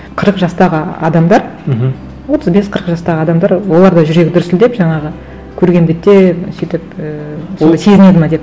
қырық жастағы адамдар мхм отыз бес қырық жастағы адамдар олар да жүрегі дүрсілдеп жаңағы көрген бетте сөйтіп ііі оны сезінеді ме деп